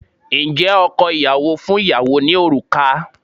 Ǹjẹ́ ọkọ ìyàwó fún ìyàwó ní òrùka?